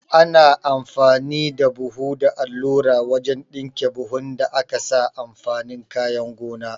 Ana amfani da buhu da allura wajan ɗinke buhun da akasa amfanin kayan gona